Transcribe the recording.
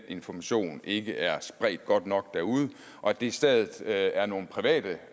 information ikke er spredt godt nok derude og at det i stedet er nogle private